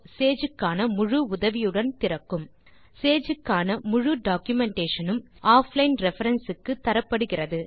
Sage க்கான முழு உதவியுடன் திறக்கும் சேஜ் க்கான முழு டாக்குமென்டேஷன் உம் ஆஃப்லைன் ரெஃபரன்ஸ் க்கு தரப்படுகிறது